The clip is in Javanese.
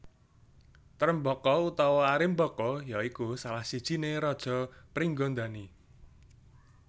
Trembaka utawa Arimbaka ya iku salah sijiné raja Pringgandani